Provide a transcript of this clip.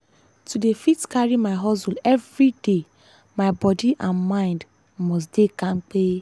to dey fit carry my hustle everyday my body and mind must dey kampe.